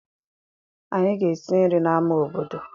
Anyị ga-esi nri n'amá obodo.